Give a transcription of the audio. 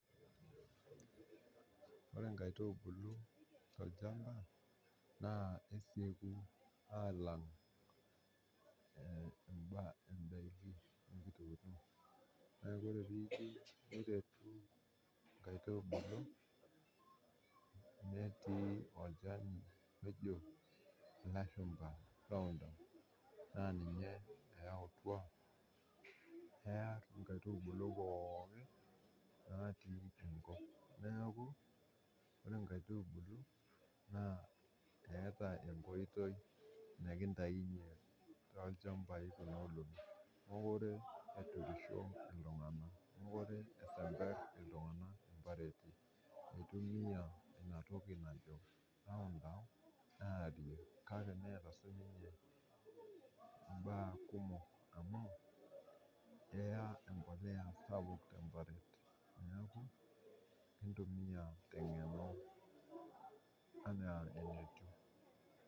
Ore nkaitubulu te ilchamba naa kesieku aalam imbaa endaki, naaku ore peeku inkaitubulu ntii olchani ojo loshumba loondom, naa ninye eyautwa kearr nkaitubulu pookin natii enkop, naaku ore nkaitubulu naa eata enkoitoi nikintainye to ilchambai kuna olong'i, naaku ore eturisho ltunganak, mokore eisember ltungana mpareti, eitumoya inatoki najo laundam, neata sii ninye imbaa kumok amuu keya empolea sapuk te mbari, naaku kintumiya te ing'eno enaa enetiu.